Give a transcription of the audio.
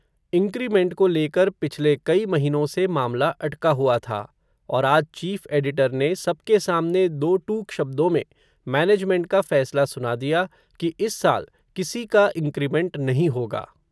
increment को लेकर पिछले कई महीनों से मामला अटका हुआ था, और आज चीफ़ एडिटर ने, सबके सामने दो टूक शब्दों में, मैनेजमेंट का फ़ैसला सुना दिया, कि इस साल, किसी का इंक्रीमेंट नहीं होगा